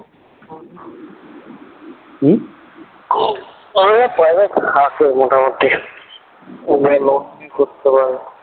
হম ওদের কাছে পয়সা থাকে মোটামুটি লোন নিয়ে করতে পারে